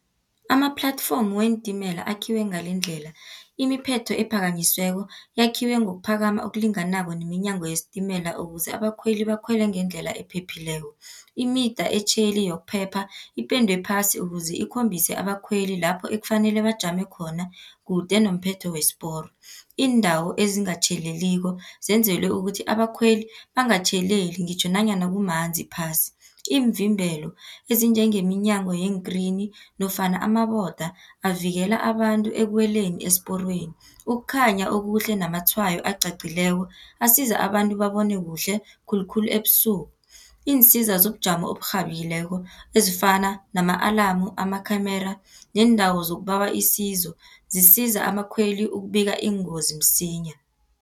Ama-platform weentimela akhiwe ngalendlela, imiphetho ephakanyisiweko yakhiwe ngokuphakama ngokulinganako neminyango yesitimela, ukuze abakhweli bakhwele ngendlela ephephileko. Imida etjheli yokuphepha ipendwe phasi, ukuze ikhombise abakhweli lapho ekufanele bajame khona, kude nomphetho wesiporo. Iindawo ezingatjheleliko zenzelwe ukuthi abakhweli bangatjheleli ngitjho nanyana kumanzi phasi. Iimvimbelo ezinjengeminyango yeentreni, nofana amaboda, avikela abantu ekuweleni esiporweni. Ukukhanya okuhle, namatshwayo aqaqileko, asiza abantu babone kuhle, khulukhulu ebusuku. Iinsiza zobujamo oburhabileko ezifana nama-alarm, amakhamera neendawo zokubawa isizo, zisiza abakhweli ukubika iingozi msinya.